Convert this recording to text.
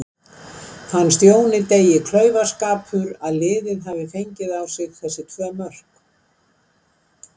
Fannst Jóni Degi klaufaskapur að liðið hafi fengið á sig þessi tvö mörk?